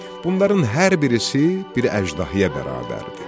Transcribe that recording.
Bunların hər birisi bir əjdahaya bərabər idi.